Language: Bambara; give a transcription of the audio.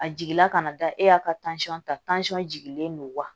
A jigila kana da e y'a ka ta jigilen don wa